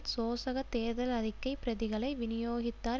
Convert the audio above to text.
சோசக தேர்தல் அறிக்கை பிரதிகளை விநியோகித்தார்